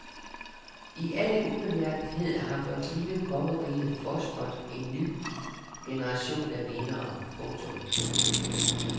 I al ubemærkethed har vores lille kongerige fostret en ny generation af vindere. punktum